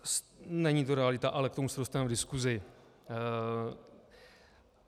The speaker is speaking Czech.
Není to realita, ale k tomu se dostaneme v diskusi.